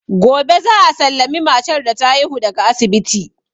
Gobe za a sallami matar da ta haihu daga asibiti.